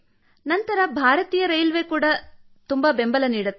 ನಂತರ ಭಾರತೀಯ ರೈಲ್ವೇ ಕೂಡಾ ಬಹಳ ಬೆಂಬಲ ನೀಡುತ್ತದೆ ಸರ್